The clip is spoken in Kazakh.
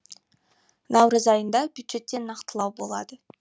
наурыз айында бюджетте нақтылау болады